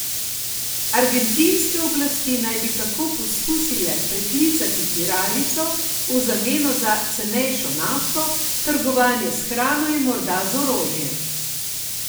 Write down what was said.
Argentinske oblasti naj bi tako poskusile preklicati tiralico v zameno za cenejšo nafto, trgovanje s hrano in morda z orožjem.